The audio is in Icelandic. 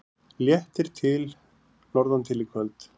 Léttir til norðantil í kvöld